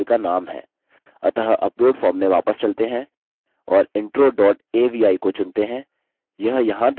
अतः upload form में वापस चलते हैं और intro dot avi को चुनते हैं यह यहाँ दर्शाया जाएगा